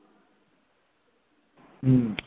হম